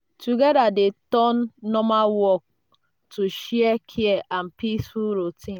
together dey turn normal work to share care and peaceful routine.